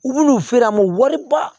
U bin'u feere an ma wari ba